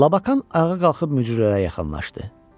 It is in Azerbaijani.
Labakan ayağa qalxıb mücrülərə yaxınlaşdı.